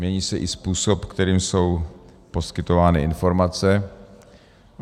Mění se i způsob, kterým jsou poskytovány informace.